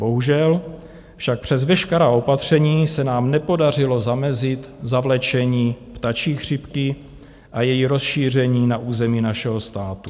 Bohužel však přes veškerá opatření se nám nepodařilo zamezit zavlečení ptačí chřipky a její rozšíření na území našeho státu.